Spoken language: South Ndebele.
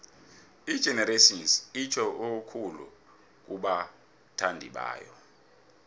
igenerations itjho okukhulu kubathandibayo